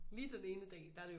Lige den ene dag der er det okay